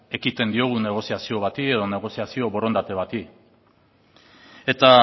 ekiten diogu negoziazio bati edo negoziazio borondate bati eta